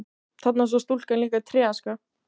Þarna sá stúlkan líka tréaska.